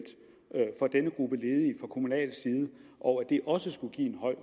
for denne gruppe ledige og at det også skulle